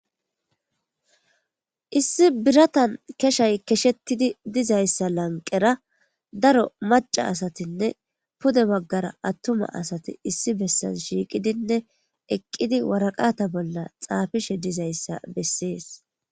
issi biratan keshay keshettidi dizayssa lanqera daro maca asatinne pude baggara attuma asati issi bessan shiiqidinne eqqidi waraqata bolla xaafishe dizayssa bessees